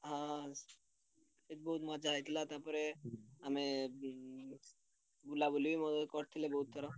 ହଁ ସେଠି ବହୁତ୍ ମଜା ହେଇଥିଲା ତାପରେ ଆମେ ଉଁ ବୁଲାବୁଲି କରିଥିଲେ ବହୁତ୍ ଥର।